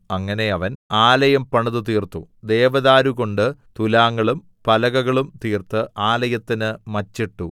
അങ്ങനെ അവൻ ആലയം പണിതുതീർത്തു ദേവദാരുകൊണ്ട് തുലാങ്ങളും പലകകളും തീർത്ത് ആലയത്തിന് മച്ചിട്ടു